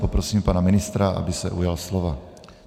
Poprosím pana ministra, aby se ujal slova.